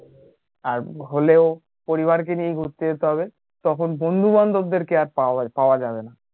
আর হলেও পরিবার কে নিয়ে ঘুরতে যেতে হবে তখন বন্ধু বান্ধব দেরকে আর পাওয়া পাওয়া যাবে না